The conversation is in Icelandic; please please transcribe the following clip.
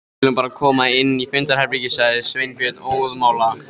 Við skulum bara koma inn í fundarherbergi sagði Sveinbjörn óðamála.